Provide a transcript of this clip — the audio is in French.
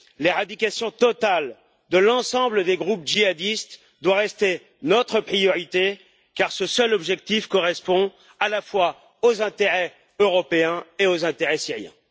L'éradication totale de l'ensemble des groupes djihadistes doit rester notre priorité, car ce seul objectif correspond à la fois aux intérêts européens et aux intérêts syriens.